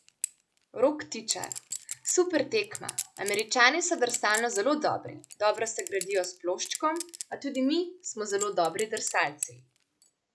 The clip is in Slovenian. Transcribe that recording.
Rok Tičar: "Super tekma, Američani so drsalno zelo dobri, dobro se gradijo s ploščkom, a tudi mi smo zelo dobri drsalci.